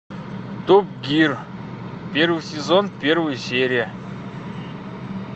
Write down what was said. топ гир первый сезон первая серия